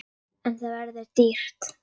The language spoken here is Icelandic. En það verður dýrt.